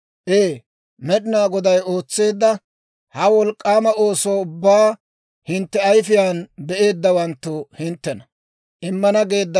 Ee! Med'inaa Goday ootseedda ha wolk'k'aama ooso ubbaa hintte ayifiyaan be'eeddawanttu hinttena.